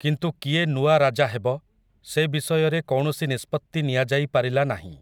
କିନ୍ତୁ କିଏ ନୂଆ ରାଜା ହେବ, ସେ ବିଷୟରେ କୌଣସି ନିଷ୍ପତ୍ତି ନିଆଯାଇପାରିଲା ନାହିଁ ।